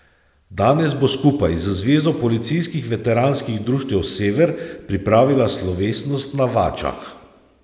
Danes bo skupaj z Zvezo policijskih veteranskih društev Sever pripravila slovesnost na Vačah.